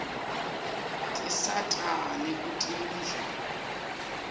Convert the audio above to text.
tisata nakutemidlalo